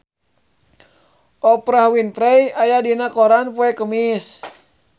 Oprah Winfrey aya dina koran poe Kemis